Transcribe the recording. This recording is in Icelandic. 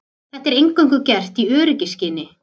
Þetta er eingöngu gert í öryggisskyni